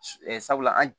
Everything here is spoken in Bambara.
sabula